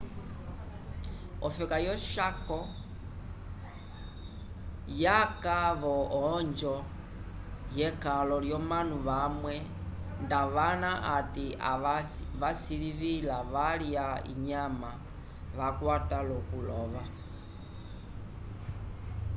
ofeka yo chaco yaka vo onjo yekalo yomanu vamwe ndavana ati kavasilivila valya inyama vakwata lokulova